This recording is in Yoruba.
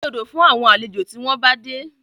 Dín dòdò fún àwọn àlejò tí wọ́n bá dé